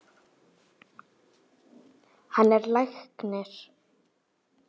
Hann er læknir.